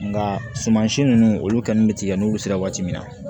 Nka sumasi ninnu olu ka kan bɛ tigɛ n'olu sera waati min na